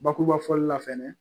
Bakuruba fɔli la fɛnɛ